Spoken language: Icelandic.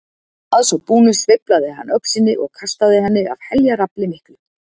Að svo búnu sveiflaði hann öxinni og kastaði henni af heljarafli miklu.